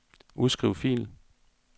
Udskriv fil.